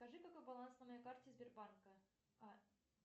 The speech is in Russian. скажи какой баланс на моей карте сбербанка